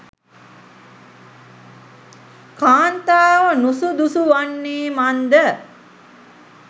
කාන්තාව නුසුදුසු වන්නේ මන් ද?